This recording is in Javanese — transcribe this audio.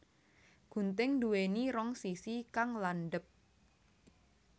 Gunting nduwéni rong sisi kang landhep